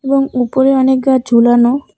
এবং উপরে অনেক গাছ ঝুলানো।